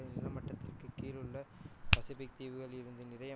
நிலமட்டத்திற்கு கீழுள்ள பசிபிக் தீவுகள்லிருந்து நிறைய